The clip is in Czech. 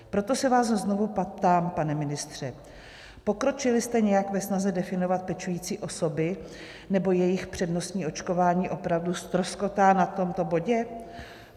Proto se vás znovu ptám, pane ministře: Pokročili jste nějak ve snaze definovat pečující osoby, nebo jejich přednostní očkování opravdu ztroskotá na tomto bodě?